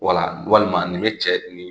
Wala walima nin bɛ cɛ ni